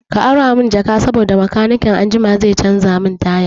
Ka ara mun jak saboda makanikin anjima zai canza min taya